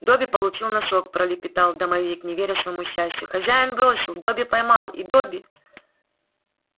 добби получил носок пролепетал домовик не веря своему счастью хозяин бросил добби поймал и добби